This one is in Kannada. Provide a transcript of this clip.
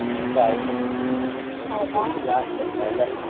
ನಮ್ದು ಆಯ್ತು SSLC last final .